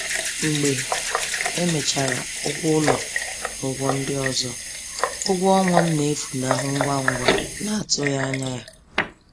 Mgbe emechara ụgwọ ụlọ na ụgwọ ndị ọzọ, ụgwọ ọnwa m na-efunahụ ngwa ngwa n’atụghị anya ya.